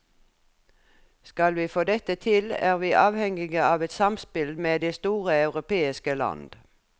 Skal vi få dette til, er vi avhengige av et samspill med de store europeiske land.